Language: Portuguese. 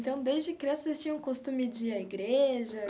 Então, desde criança, vocês tinham o costume de ir à igreja?